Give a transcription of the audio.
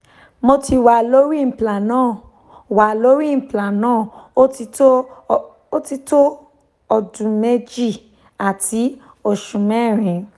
mo ti wa lori implanon wa lori implanon o ti to o ti to odun meji ati osu merin-in